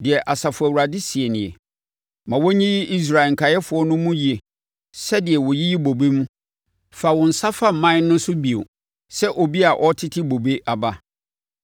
Deɛ Asafo Awurade seɛ nie: “Ma wɔnyiyi Israel nkaeɛfoɔ no mu yie sɛdeɛ wɔyiyi bobe mu; fa wo nsa fa mman no so bio, sɛ obi a ɔretete bobe aba.”